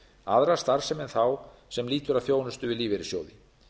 aðra starfsemi en þá sem lýtur að þjónustu við lífeyrissjóði